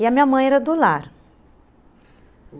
E a minha mãe era do lar.